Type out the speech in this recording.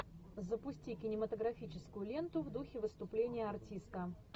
запусти кинематографическую ленту в духе выступления артиста